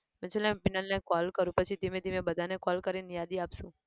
પછી લાય હું પીનલ ને call કરું પછી ધીમે ધીમે બધાને call કરીન યાદી આપશુ.